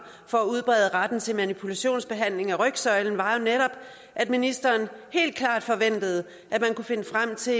for at udbrede retten til manipulationsbehandling af rygsøjlen var jo netop at ministeren helt klart forventede at man kunne finde frem til